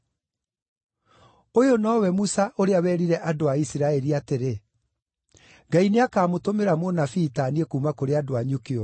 “Ũyũ nowe Musa ũrĩa werire andũ a Isiraeli atĩrĩ, ‘Ngai nĩakamũtũmĩra mũnabii ta niĩ kuuma kũrĩ andũ anyu kĩũmbe.’